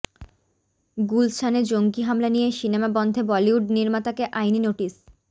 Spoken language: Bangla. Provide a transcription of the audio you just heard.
গুলশানে জঙ্গি হামলা নিয়ে সিনেমা বন্ধে বলিউড নির্মাতাকে আইনি নোটিশ